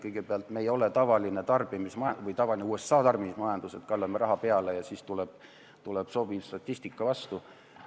Kõigepealt, me ei ole tavaline USA tarbimismajandus, et kallame raha peale ja siis tuleb sobiv statistika vastu.